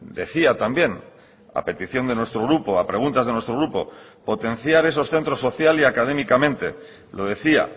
decía también a petición de nuestro grupo a preguntas de nuestro grupo potenciar esos centros social y académicamente lo decía